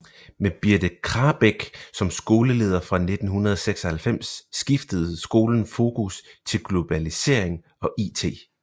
Med Birthe Krabek som skoleleder fra 1996 skiftede skolen fokus til globalisering og it